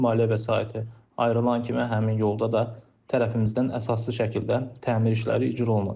Maliyyə vəsaiti ayrılan kimi həmin yolda da tərəfimizdən əsaslı şəkildə təmir işləri icra olunacaq.